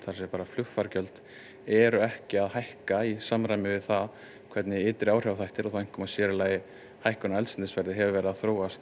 að segja bara flugfargjöld eru ekki að hækka í samræmi við það hvernig ytri áhrifaþættir og þá einkum og sér í lagi hækkun á eldsneytisverði hefur verið að þróast